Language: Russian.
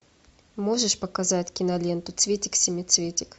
можешь показать киноленту цветик семицветик